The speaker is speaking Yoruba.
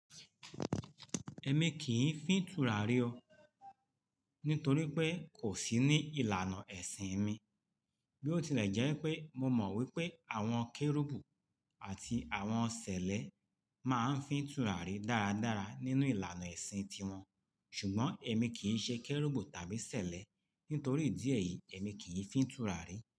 Ẹ̀mi kì í fín túràrí o, nítorí pé kò sí ní ìlànà ẹ̀sìn mi. Bí ó tilẹ̀ jẹ́ pé mo mọ̀ wípé àwọn Kérúbù àti àwọn Sẹ̀lẹ́ máa ń fín túràrí dáradára nínú ìlànà ẹ̀sìn tiwọn, ṣùgbọ́n ẹ̀mi kì í ṣe Kérúbù tàbí Sẹ̀lẹ́. Nítorí ìdí ẹ́yí, ẹ̀mi kì í fín túràrí.